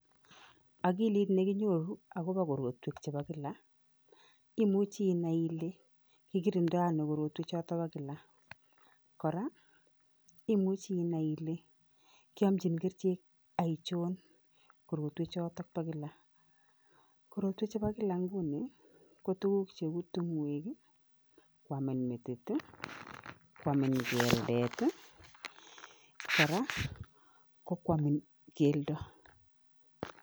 Akilit ne kinyoru akobo korotwek chebo kila, imuchi inai ile kikirindo ano korotwechoto bo kila, kora imuchi inai ile kyamchin kerichek aichon korotwe choto bo kila, korotwe chebo kila nguni ko tukuk cheu tungwek ii, kwamin metit, kwamin keldet ii kora ko kwamin keldo.